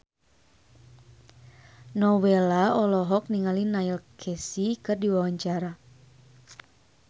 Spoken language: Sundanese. Nowela olohok ningali Neil Casey keur diwawancara